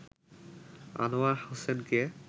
আনোয়ার হোসেনকে